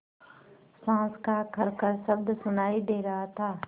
साँस का खरखर शब्द सुनाई दे रहा था